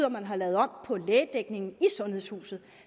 at man havde lavet om på lægedækningen i sundhedshuset